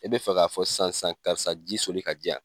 I bɛ fɛ k'a fɔ sisan sisan karisa ji soli ka di yan.